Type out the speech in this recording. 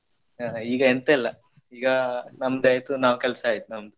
ಆ ಈಗ ಎಂತ ಇಲ್ಲ ಈಗ ನಮ್ದ್ ಆಯ್ತು ನಾವ್ ಕೆಲ್ಸ ಆಯ್ತು ನಮ್ದ್.